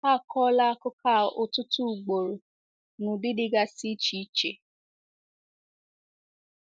A kọọla akụkọ a ọtụtụ ugboro n’ụdị dịgasị iche iche.